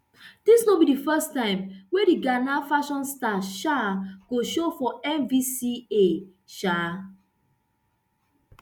dis no be di first time wey di ghana fashion star um go show for amvca um